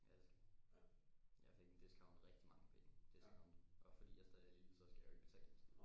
Ja det skal jeg. Jeg fik en discount rigtig mange penge discount og fordi jeg stadig er elite så skal jeg jo ikke betale en skid